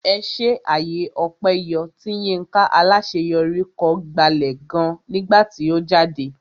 Ẹṣé àyè ọpẹ yọ tí Yinka Alaṣeyori kọ gbalẹ̀ gan nígbà tí ó jáde.